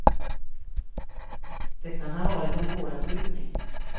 Det kan ha varit en vådaskjutning.